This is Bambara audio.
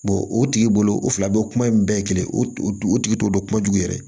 o tigi bolo o fila bɛɛ kuma in bɛɛ kelen o tigi t'o dɔn kuma jugu yɛrɛ